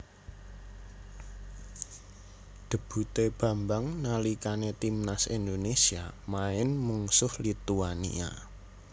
Debutè Bambang nalikanè timnas Indonésia maèn mungsuh Lituania